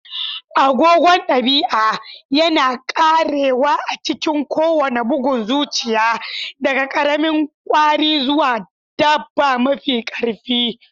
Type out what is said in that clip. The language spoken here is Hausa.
Agogon dabi'a yana karewa a cikin kowane bugun zuciya, daga ƙaramin kwari zuwa dabba mafi ƙarfi.